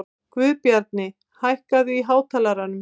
Guðbjarni, hækkaðu í hátalaranum.